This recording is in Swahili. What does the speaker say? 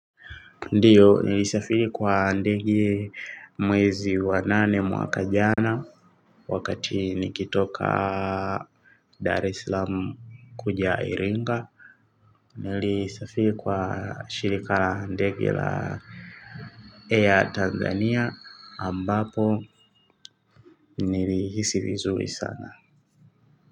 Ndiyo nilisafiri kwa ndege mwezi wa nane mwaka jana wakati nikitoka Dar eslam kuja iringa. Nilisafiri kwa shirika ndegi la air Tanzania ambapo nilihisi vizuri sana.